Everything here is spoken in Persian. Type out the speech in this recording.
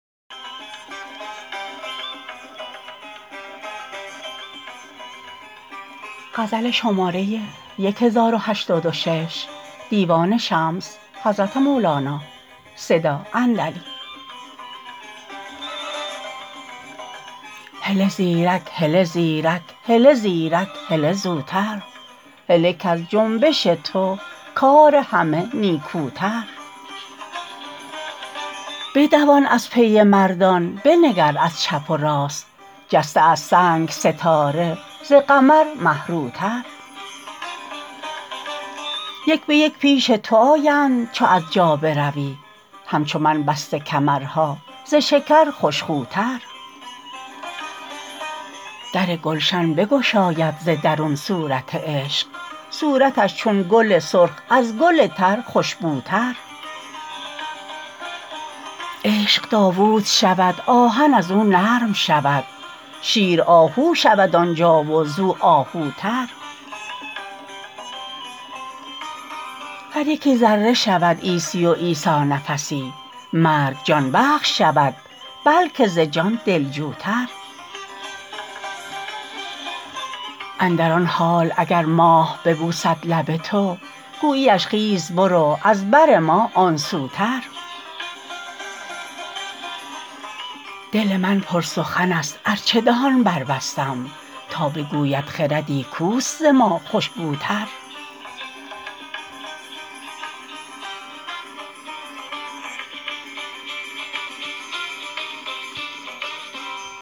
هله زیرک هله زیرک هله زیرک زوتر هله کز جنبش تو کار همه نیکوتر بدوان از پی مردان بنگر از چپ و راست جسته از سنگ ستاره ز قمر مه روتر یک به یک پیش تو آیند چو از جا بروی همچو من بسته کمرها ز شکر خوش خوتر در گلشن بگشاید ز درون صورت عشق صورتش چون گل سرخ از گل تر خوش بوتر عشق داوود شود آهن از او نرم شود شیر آهو شود آن جا و از او آهوتر هر یکی ذره شود عیسی و عیسی نفسی مرگ جان بخش شود بلک ز جان دلجوتر اندر آن حال اگر ماه ببوسد لب تو گوییش خیز برو از بر ما آن سوتر دل من پرسخنست ار چه دهان بربستم تا بگوید خردی کوست ز ما خوشگوتر